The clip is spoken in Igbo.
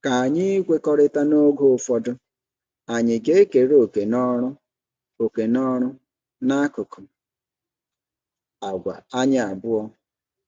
K'ányi ikwekọrịta n'oge ụfọdụ anyị ga-ekere òkè n'ọrụ òkè n'ọrụ n'akụkụ àgwà anyị abuo?